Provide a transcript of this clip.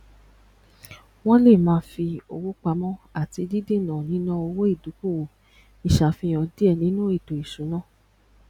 wọn le ma fi owo pamó ati dídèna níná owó ìdọkowọ ìṣàfihàn diẹ nínú ètò ìṣúná